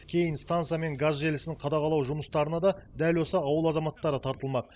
кейін станция мен газ желісін қадағалау жұмыстарына да дәл осы ауыл азаматтары тартылмақ